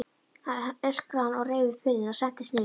öskraði hann og reif upp hurðina og sentist niður stigana.